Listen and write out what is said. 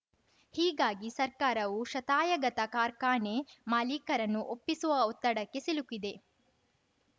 ಹೀಗಾಗಿ ಸರ್ಕಾರವು ಶತಾಯಗತ ಕಾರ್ಖಾನೆ ಮಾಲಿಕರನ್ನು ಒಪ್ಪಿಸುವ ಒತ್ತಡಕ್ಕೆ ಸಿಲುಕಿದೆ